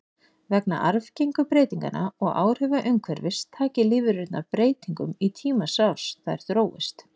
Vegna arfgengu breytinganna og áhrifa umhverfis taki lífverurnar breytingum í tímans rás, þær þróist.